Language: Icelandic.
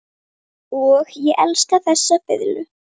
Og ég elska þessa fiðlu.